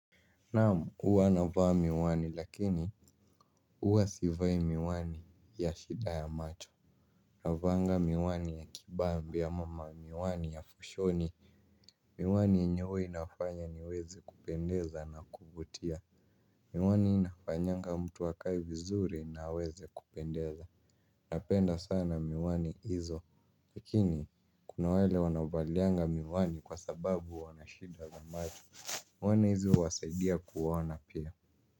Naamu uwa anavaa miwani lakini uwa sivai miwani ya shida ya macho. Navanga miwani ya kibambi ya mama miwani ya fushoni. Miwani yenye huwa inafanya niweze kupendeza na kuvutia. Miwani inafanyanga mtu wakai vizuri na weze kupendeza. Napenda sana miwani hizo. Lkini kuna wale wanao valianga miwani kwa sababu wanashida ya macho. Miwani hizo wasaidia kuwaona pia.